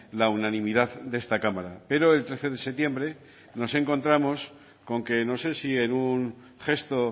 la unanimidad de esta cámara pero el trece de septiembre nos encontramos con que no sé si en un gesto